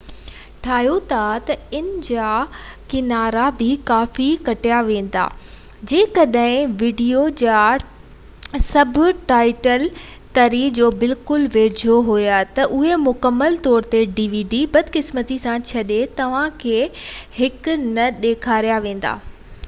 بدقسمتي سان جڏهن توهان هڪ dvd ٺاهيو ٿا ته ان جا ڪنارا بہ ڪافي ڪٽيا ويندا ۽ جيڪڏهن ويڊيو جا سب ٽائيٽل تري جو بلڪل ويجهو هئا تہ اهي مڪمل طور تي نہ ڏيکاريا ويندا